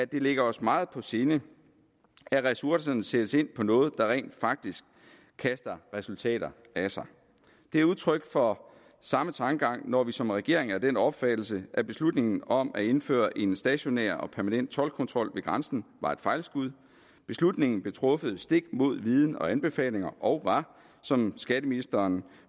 det ligger os meget på sinde at ressourcerne sættes ind på noget der rent faktisk kaster resultater af sig det er udtryk for samme tankegang når vi som regering er af den opfattelse at beslutningen om at indføre en stationær og permanent toldkontrol ved grænsen var et fejlskud beslutningen blev truffet stik mod viden og anbefalinger og var som skatteministeren